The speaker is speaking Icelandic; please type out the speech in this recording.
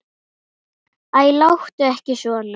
Æ, láttu ekki svona.